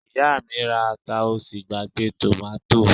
Ìyá mi ra ata ó sì gbàgbé tòmátò